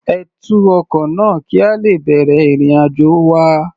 Ẹ tú ọkọ náà, kí a lè bẹ̀rẹ̀ ìrìn-àjò wa.